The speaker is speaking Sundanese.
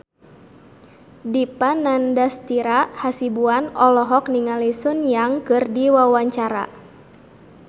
Dipa Nandastyra Hasibuan olohok ningali Sun Yang keur diwawancara